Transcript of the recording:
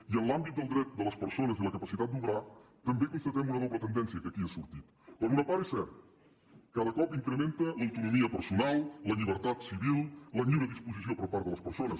i en l’àmbit del dret de les persones i la capacitat d’obrar també constatem una doble tendència que aquí ha sortit per una part és cert que de cop incrementa l’autonomia personal la llibertat civil la lliure disposició per part de les persones